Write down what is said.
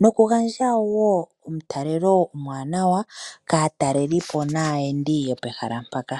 noku gandja wo omutalelo omuwanawa kaatalelipo naayendi yopehala mpaka.